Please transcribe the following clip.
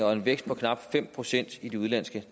og en vækst på knap fem procent i de udenlandske